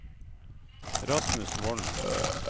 Rasmus Volden